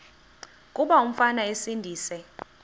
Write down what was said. kuba umfana esindise